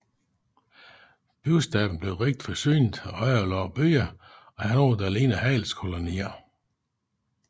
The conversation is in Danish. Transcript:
Bystaten blev rigt forsynet af underlagte byer og havde noget der lignede handelskolonier